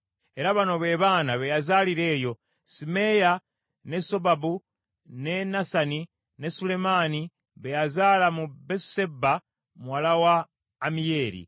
era bano be baana be yazaalira eyo: Simeeyi, ne Sobabu, ne Nasani, ne Sulemaani be yazaala mu Besusebba muwala wa Amiyeeri.